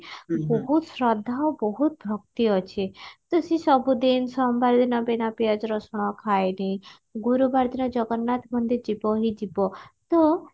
ବହୁତ ଶ୍ରଦ୍ଧା ଓ ବହୁତ ଭକ୍ତି ଅଛି ତ ସିଏ ସବୁଦିନ ସୋମବାର ଦିନ ବୀନା ପିଆଜ ରସୁଣ ଖାଏନି ଗୁରୁବାର ଦିନ ଜଗନ୍ନାଥ ମନ୍ଦିର ଯିବ ହିଁ ଯିବ ତ